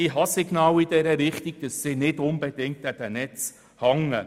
Ich habe Signale in diese Richtung erhalten, wonach die BKW nicht unbedingt an den Netzen hängt.